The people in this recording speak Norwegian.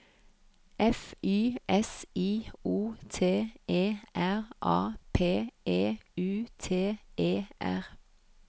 F Y S I O T E R A P E U T E R